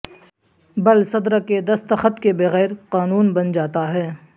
بل صدر کے دستخط کے بغیر قانون بن جاتا ہے